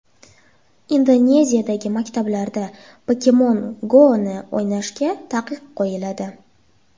Indoneziyadagi maktablarda Pokemon Go‘ni o‘ynashga taqiq qo‘yiladi.